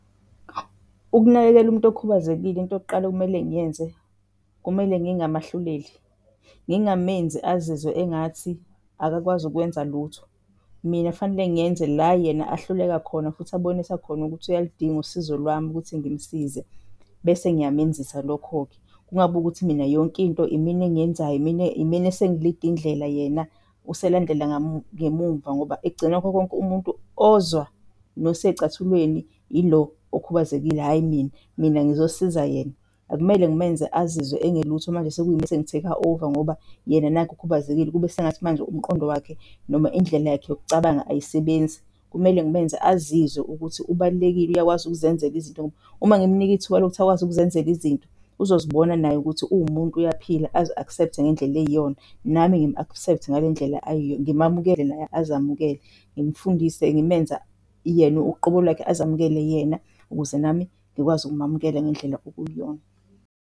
Ukunakekela umuntu okhubazekile into yokuqala okumele ngiyenze kumele ngingamahluleli, ngingamenzi azizwe engathi akakwazi ukwenza lutho. Mina fanele ngenze la yena ahluleka khona futhi abonisa khona ukuthi uyaludinga usizo lwami ukuthi ngimusize bese ngiyamenzisa lokho-ke. Kungabi ukuthi mina yonke into imina engiyenzayo imina, imina esengilida indlela. Yena uselandela ngemuva ngoba ekugcineni kwakho nkonke umuntu ozwa noseyicathulweni ilo okhubazekile hhayi mina, mina ngizosiza yena. Akumele ngimenze azizwe engelutho manje sekuyimi esengi-take-a over ngoba yena nakhu ukhubazekile, kube sengathi manje umqondo wakhe noma indlela yakhe yokucabanga ayisebenzi. Kumele ngimenze azizwe ukuthi ubalulekile, uyakwazi ukuzenzela izinto, ngoba uma ngimnika ithuba lokuthi akwazi ukuzenzela izinto uzozibona naye ukuthi uwumuntu uyaphila azi-accept ngendlela eyiyona nami ngimu-accept ngalendlela ngimamukele, naye azamukele, ngimfundise, ngimenze yena uqobo lwakhe azamukele yena, ukuze nami ngikwazi ukumamukele ngendlela okuyiyona.